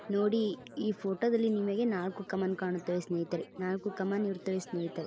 ನೋಡಿ ಈ ಫೋಟೋ ದಲ್ಲಿ ನಿಮಗೆ ನಾಲಕ್ಕು ಕಮಾನ್ ಕಾಣುತ್ತವೆ ಸ್ನೇಹಿತರೆ ನಾಲಕ್ಕು ಕಮಾನ್ ಇರುತ್ತವೆ ಸ್ನೇಹಿತರೆ.